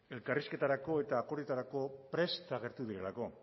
elkarrizketarako eta akordioetarako prest agertu direlako